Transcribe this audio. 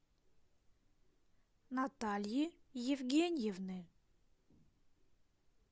натальи евгеньевны